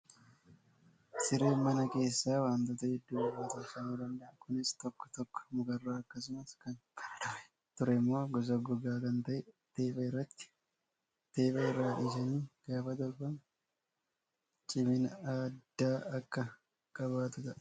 Sireen mana keessaa wantoota hedduu irraa tolfamuu danda'a. Kunis tokko tokko mukarraa akkasumas kan bara durii turemmoo gosa gogaa kan ta'e teepha irraati. Teepha irraa dhisanii gaafa tolfamu cimina addaa akka qabaatu ta'a.